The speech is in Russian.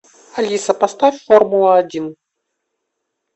алиса поставь формула один